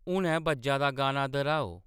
हुनै बज्जा दा गाना दर्‌हाओ